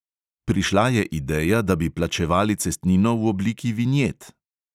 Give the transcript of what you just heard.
Prišla je ideja, da bi plačevali cestnino v obliki vinjet.